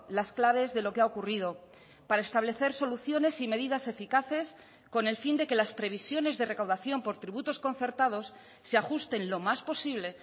las claves de lo que ha ocurrido para establecer soluciones y medidas eficaces con el fin de que las previsiones de recaudación por tributos concertados se ajusten lo más posible